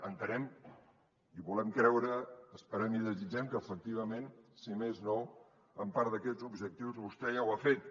entenem i volem creure esperem i desitgem que efectivament si més no en part d’aquests objectius vostè ja ho ha fet